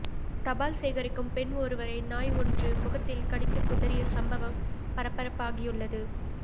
தபால் சேகரிக்கும் பெண் ஒருவரை நாய் ஒன்று முகத்தில் கடித்துக்குதறிய சம்பவம் பரபரப்பாகியுள்ளது